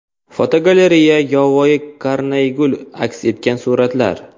Fotogalereya: Yovvoyi karnaygul aks etgan suratlar.